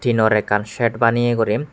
nor ekkan set baneye guri.